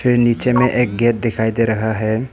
नीचे में एक गेट दिखाई दे रहा है।